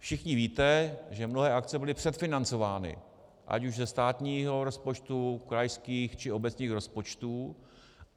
Všichni víte, že mnohé akce byly předfinancovány ať už ze státního rozpočtu, krajských, či obecních rozpočtů.